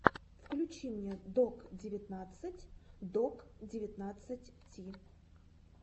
включи мне док девятнадцать док девятнадцать ти